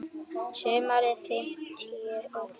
Sumarið fimmtíu og fimm.